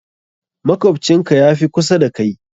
Makwabcin ka ya fi kusa da kai.